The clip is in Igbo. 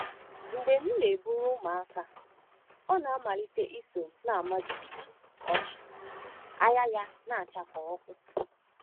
“Mgbe m na-eburu ụmụaka, ọ na-amalite iso m na-ama jijiji ọchị, anya ya na-acha ọkụ!”